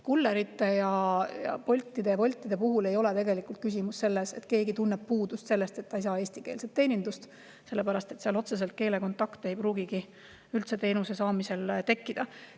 Kullerite ja Boltide-Woltide puhul ei ole küsimus selles, et keegi tunneb puudust, sest ta ei saa eestikeelset teenindust, sellepärast et seal ei pruugi teenuse saamisel otsest keelekontakti üldse tekkida.